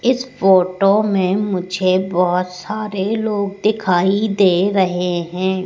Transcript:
इस फोटो में मुझे बहोत सारे लोग दिखाई दे रहे हैं।